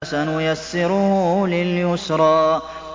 فَسَنُيَسِّرُهُ لِلْيُسْرَىٰ